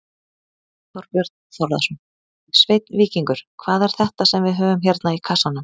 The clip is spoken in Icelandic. Þorbjörn Þórðarson: Sveinn Víkingur, hvað er þetta sem við höfum hérna í kassanum?